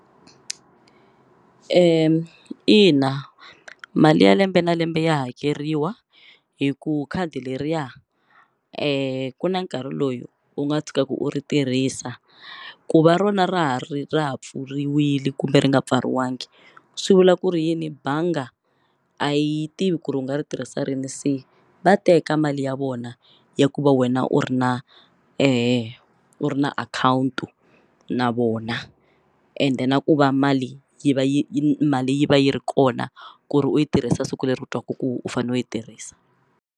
I na mali ya lembe na lembe ya hakeriwa hi ku khadi leriya ku na nkarhi loyo u nga tshukaku u ri tirhisa ku va rona ra ha ri ra ha pfuriwile kumbe ri nga pfariwangi swi vula ku ri yini banga a yi tivi ku ri u nga ri tirhisa rini se va teka mali ya vona ya ku va wena u ri na u ri na akhawuntu na vona ende na ku va mali yi va yi yi mali yi va yi ri kona ku ri u yi tirhisa siku leri ku twaku ku u fane u yi tirhisa.